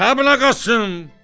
Kəblə Qasım!